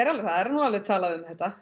alveg það er nú alveg talað um þetta